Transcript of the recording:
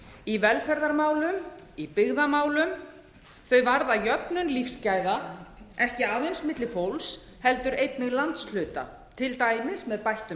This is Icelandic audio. í velferðarmálum í byggðamálum þau varða jöfnun lífsgæða ekki aðeins milli fólks heldur einnig landshluta til dæmis með bættum